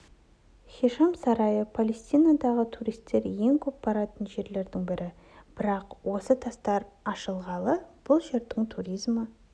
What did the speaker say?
хишам сарайы палестинадағы туристер ең көп баратын жерлердің бірі бірақ осы тастар ашылғалы бұл жердің туризмі